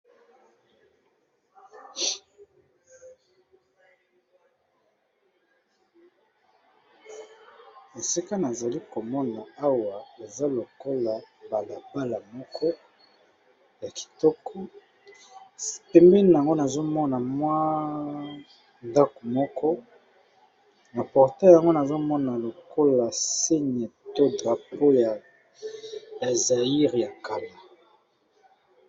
esika nazali komona awa eza lokola balabala moko ya kitoko pembea yango nazomona mwa ndako moko na porte yango nazomona lokola sine to drapo ya azaire ya kama